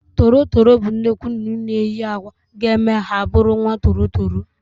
Toro toro bụ nnukwu nnụnụ na eyi akwa ga eme ha bụrụ nwa toro toro